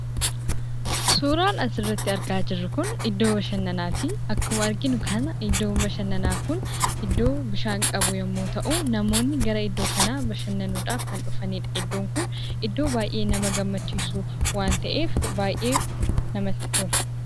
Suuraan asirratti argaa jirru kun iddoo bashannanaati. Akkuma arginu kana iddoon bashannanaa kun iddoo bishaan qabu yommuu ta'u, namoonni gara iddoo kanaa bashannanuudhaaf ni dhufu. Iddoon kun iddoo baay'ee nama gammachiisu waan ta'eef baay'ee namatti tola.